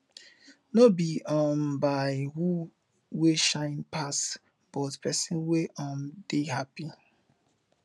no bi um by who wey shine pass but pesin wey um dey hapi